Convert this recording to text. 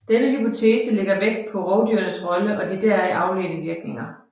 Denne hypotese lægger vægt på rovdyrenes rolle og de deraf afledte virkninger